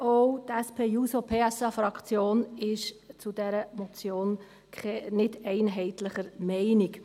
Auch die SP-JUSO-PSA-Fraktion ist zu dieser Motion nicht einheitlicher Meinung.